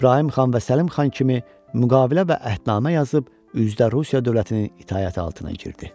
İbrahim xan və Səlim xan kimi müqavilə və əhdnamə yazıb üzdə Rusiya dövlətinin itaəti altına girdi.